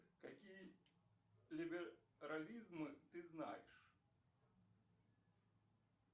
какие либерализмы ты знаешь